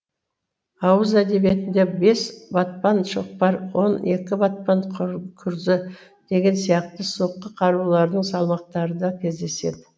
ауыз әдебиетінде бес батпан шоқпар он екі батпан күрзі деген сияқты соққы қаруларының салмақтары да кездеседі